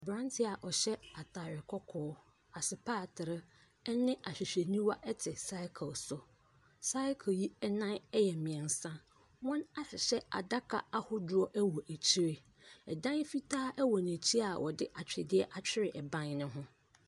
Abranteɛ a ɔhyɛ ataade kɔkɔɔ, asepaatre ɛne ahwehwɛniwa te cycle so. Cycle yi nan yɛ mmiɛnsa. Wɔahyehyɛ adaka ahodoɔ wɔ akyiri. ℇdan fitaa wɔ n’akyi a wɔde atwedeɛ atwere ɛban no ho.